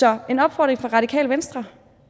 er en opfordring fra radikale venstre